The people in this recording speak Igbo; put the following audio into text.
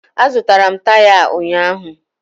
Azụtara m taya a ụnyaahụ